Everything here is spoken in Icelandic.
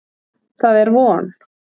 Það er von